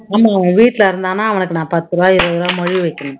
ஆமா, அவன் வீட்டுல இருந்தான்னா அவனுக்கு நான் பத்து ரூபா இருவது ரூபா மொய் வைக்கணும்